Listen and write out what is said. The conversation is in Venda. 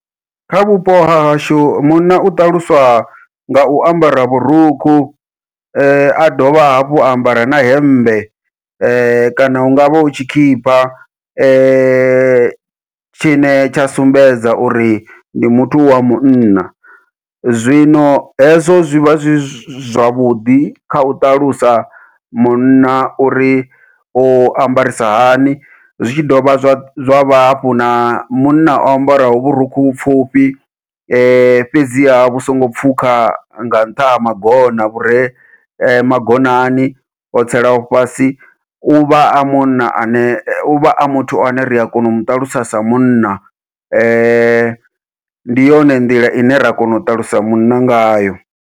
Kha vhupo hahashu munna u ṱaluswa ngau ambara vhurukhu, a dovha hafhu a ambara na hemmbe kana hungavha hu tshikhipha tshine tsha sumbedza uri ndi muthu wa munna, zwino hezwo zwivha zwi zwavhuḓi kha u ṱalusa munna uri u ambarisa hani zwi tshi dovha zwa hafhu na munna o ambara vhurukhu pfhufhi, fhedziha vhu songo pfhukha nga nṱha ha magona vhure magonani o tselaho fhasi, uvha a munna ane uvha a muthu ane ria kona u muṱalusa sa munna ndi yone nḓila ine ra kona u ṱalusa munna ngayo.